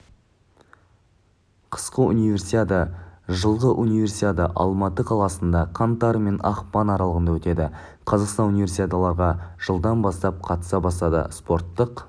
қысқы универсиада жылғы универсиада алматы қаласында қаңтар мен ақпанаралығындаөтеді қазақстан унивесиадаларға жылдан бастап қатыса бастады спорттық